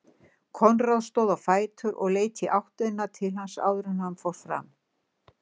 Konráð stóð á fætur og leit í áttina til hans áður en hann fór fram.